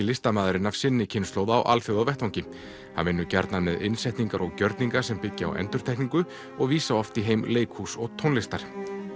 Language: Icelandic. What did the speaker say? listamaðurinn af sinni kynslóð á alþjóðavettvangi hann vinnur gjarna með innsetningar og gjörninga sem byggja á endurtekningu og vísa oft í heim leikhúss og tónlistar